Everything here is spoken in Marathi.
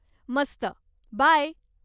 मस्त, बाय.